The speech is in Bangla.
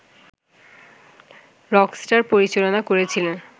রকস্টার পরিচালনা করেছিলেন